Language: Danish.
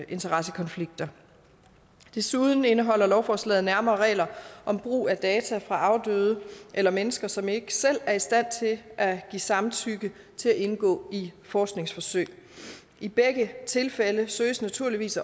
interessekonflikter desuden indeholder lovforslaget nærmere regler om brug af data fra afdøde eller mennesker som ikke selv er i stand til at give samtykke til at indgå i forskningsforsøg i begge tilfælde søges naturligvis